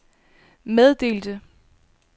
meddelte